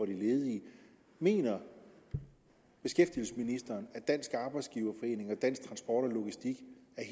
de ledige mener beskæftigelsesministeren at dansk arbejdsgiverforening og dansk transport og logistik